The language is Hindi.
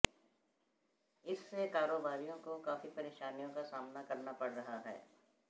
इससे कारोबारियों को काफी पेरशानियों का सामना करना पड़ रहा है